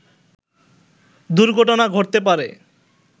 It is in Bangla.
দুর্ঘটনা ঘটতে পারে